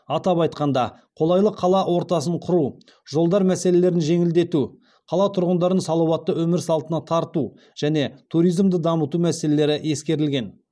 атап айтқанда қолайлы қала ортасын құру жолдар мәселелерін жеңілдету қала тұрғындарын салауатты өмір салтына тарту және туризмді дамыту мәселелері ескерілген